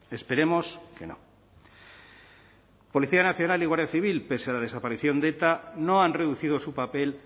esperemos que no policía nacional y guardia civil pese a la desaparición de eta no han reducido su papel